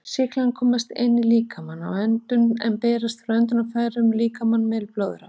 Sýklarnir komast inn í líkamann við öndun en berast frá öndunarfærum um líkamann með blóðrás.